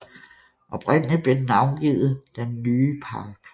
Oprindeligt blev den navngivet den Nye Park